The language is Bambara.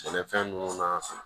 Sɛnɛfɛn ninnu na